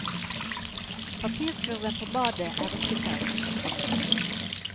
Papirkurven på badet er ikke tømt.